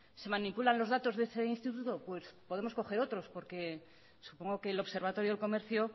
se manipulan los datos de ese instituto pues podemos coger otros porque supongo que el observatorio del comercio